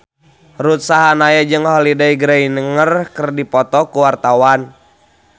Ruth Sahanaya jeung Holliday Grainger keur dipoto ku wartawan